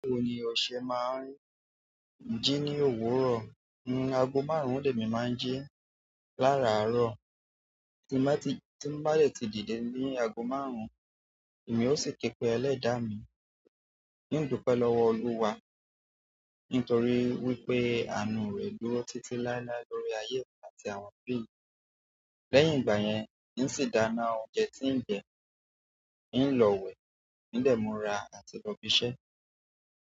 Báwo ni ọ̀sẹ́ máa ń jí ní òwúrọ̀? Ago márùn lèmi má ń jí lararoo. Ti n bá ti, tí n ti n bá dé ti dìde ni ago márùn, èmi ò sì kepe ẹlẹ́dà mi, hin dúpẹ́ lọ́wọ́ olúwa, nítorí wípé àánú rẹ̀ dúró títí láíláí lórí ayé mi àti àwọn òbí mi, lẹ́yìn igbayen, hin sì dáná oúnjẹ ti n jẹ tí mo bá yẹ ti jíde ní àgò márùn-ún, tí ń jẹ,